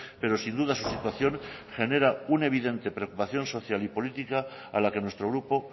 pero sin duda su situación genera una evidente preocupación social y política a la que nuestro grupo